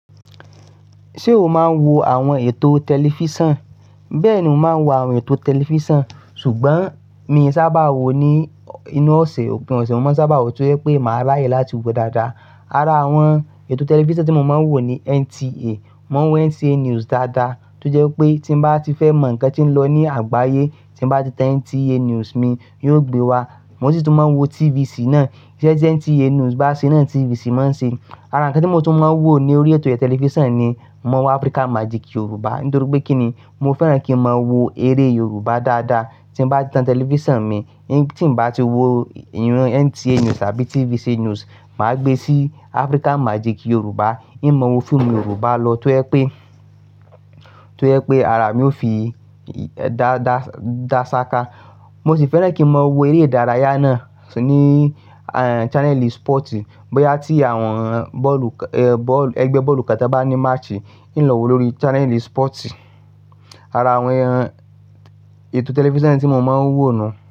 Ṣé o máa ń wo àwọn ètò tẹlifísàn? Bẹ́ẹ̀ ni mo máa ń wo àwọn ètò tẹlifísàn, ṣùgbọ́n mi sábà wo ní inú ọ̀sẹ̀. Òpin ọ̀sẹ̀ mo sábà wò tó jẹ́ pé màá ráyè láti wo dáadáa. Ara àwọn ètò tẹlifísàn tí mo máa ń wo ni NTA. Mo ń wo NTA News dáadáa tó jẹ́ pé tí mo bá ti fẹ́ mọ ǹkan tí ń lọ ní àgbáyé, tí mo bá ti tan NTA News mi yóò gbé wá. Mo sì tún máa ń wo TVC náà. Iṣẹ́ tí NTA News bá ṣe náà TVC máa ń ṣe é. Ara ǹkan tí mo tún máa ń wo ní orí ètò iye tẹlifísàn ni mo ń wo Africa Magic Yoruba. Nítorí pé kí ni? Mo fẹ́ràn kí n máa wo eré Yorùbá dáadáa. Tí mo bá ti tan tẹlifísàn mi, tí mo bá ti wo iran NTA News àbí TVC News, mà á gbé sí Africa Magic Yoruba. Ìhn máa wo fíìmù Yorùbá lọ tó jẹ́ pé, tó jẹ́ pé ara mi ó fi dasaka. Mo sì fẹ́ràn kí n máa wo eré ìdárayá náà ni channeli sípọ̀tì. Bóyá tí àwọn bọ́ọ̀lù, ẹgbẹ́ bọ́ọ̀lù kán tà bá ní màchì, ì ń lọ̀ wó lórí channeli sípọ̀tì. Ara àwọn ètò tẹlifísàn tí mo máa ń wò nù.